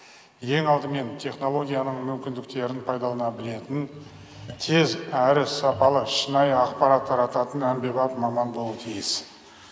ең алдымен технологияның мүмкіндіктерін пайдалана білетін тез әрі сапалы шынайы ақпарат тарататын әмбебап маман болу тиіс